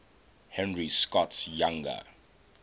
henry scott's younger